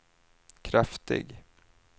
kraftig